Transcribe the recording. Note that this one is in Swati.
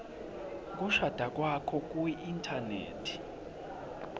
kushada kwakho kuinthanethi